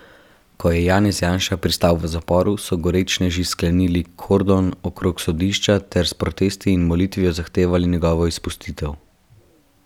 Ko je Janez Janša pristal v zaporu, so gorečneži sklenili kordon okrog sodišča ter s protesti in molitvijo zahtevali njegovo izpustitev.